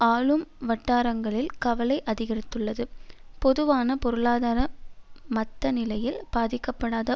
ஆளும் வட்டாரங்களில் கவலை அதிகரித்துள்ளது பொதுவான பொருளாதார மத்நிலையில் பாதிக்கப்படாத